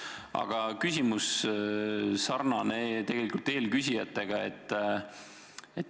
Aga küsimus on mul samasugune kui eelküsijatel.